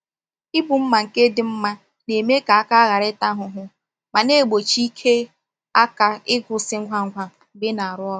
Ibu mma nke dị mma na-eme ka aka ghara ịta ahụhụ ma na-egbochi ike aka ịkwụsị ngwa ngwa mgbe ị na-arụ ọrụ.